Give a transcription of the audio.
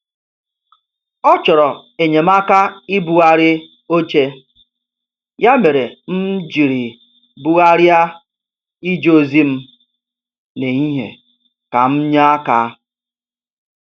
Ọ chọrọ enyemaka ibugharị oche, ya mere m jiri bugharịa ije ozi m n' ehihie ka m nye aka.